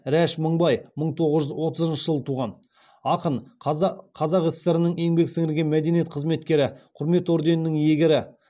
рәш мыңбай мың тоғыз жүз отызыншы жылы туған ақын қазақ сср інің еңбек сіңірген мәдениет қызметкері құрмет орденінің иегері